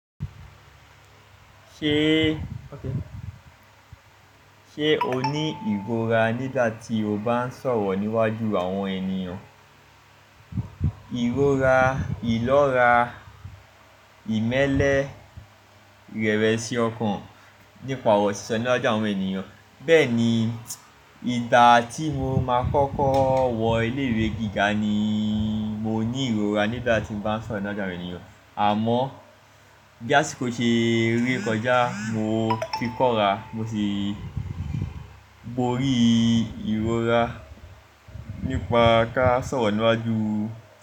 Ṣé, ṣe o ní ìrora nígbà tí o bá ń sọ̀rọ̀ níwájú àwọn ènìyàn? Ìrora, ìlọ́ra, ìmẹ́lẹ́, ìrẹ̀wẹ̀sì ọkàn nípa ọ̀rọ̀ sísọ níwájú àwọn ènìyàn. Bẹ́ẹ̀ni, ìgbà tí mo máa kọ́kọ́ wọ ilé ìwé gíga ni mo ní ìrora nígbà tí mo bá ń sọ̀rọ̀ níwájú àwọn ènìyàn. Àmọ́ bí àsìkò ṣe rí kọjá, mo fi kọ́ra, mo ti borí ìrora nípa ká sọ̀rọ̀ níwájú.